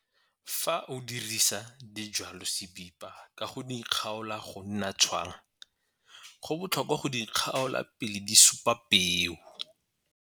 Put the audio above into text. Fa o dirisa dijwalosebipo ka go di kgaola go nna tshwang go botlhokwa go di kgaola pele di supa peo.